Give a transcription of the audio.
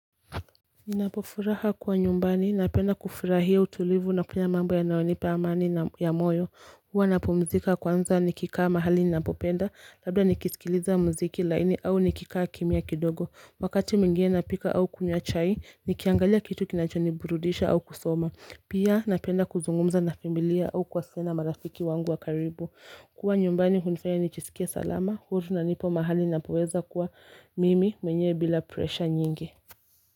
Ninapofuraha kwa nyumbani napenda kufurahia utulivu na pia mambo ya nayonipa amani ya moyo Hua napumzika kwanza nikikaa mahali ninapopenda labda nikisikiliza mziki laini au nikikaa kimia kidogo Wakati mwingine napika au kunywa chai nikiangalia kitu kinachoni burudisha au kusoma Pia napenda kuzungumza na familia au kwasena marafiki wangu wa karibu kuwa nyumbani hunifanya nichisikie salama huru na nipo mahali ninapoweza kuwa mimi mwenyewe bila presha nyingi.